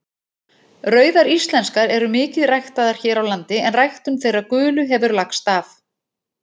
Rauðar íslenskar eru mikið ræktaðar hér á landi en ræktun þeirra gulu hefur lagst af.